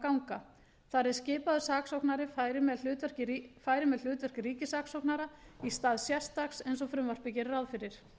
ganga þar eð skipaður saksóknari færi með hlutverk ríkissaksóknara í stað sérstaks eins og frumvarpið gerði ráð fyrir